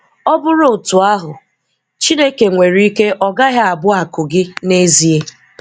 Ọ bụrụ otú ahụ, Chineke nwere ike ọ gaghị abụ akụ gị n'ezie.